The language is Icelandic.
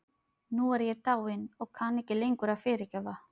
Nú er ég dáin og kann ekki lengur að fyrirgefa.